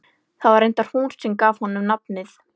Það var reyndar hún sem gaf honum nafnið.